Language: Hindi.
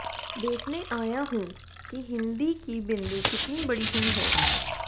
देखने आया हूं कि हिंदी की बिंदी कितनी बड़ी हुई है